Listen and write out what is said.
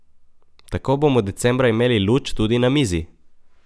Tako bomo decembra imeli luč tudi na mizi!